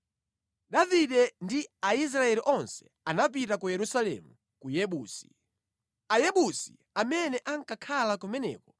Davide ndi Aisraeli onse anapita ku Yerusalemu (ku Yebusi). Ayebusi amene ankakhala kumeneko